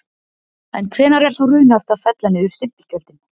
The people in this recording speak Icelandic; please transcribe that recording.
En hvenær er þá raunhæft að fella niður stimpilgjöldin?